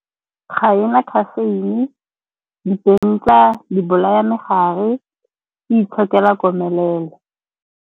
Ga ena caffeine, , di bolaya megare. E itshokela komelelo.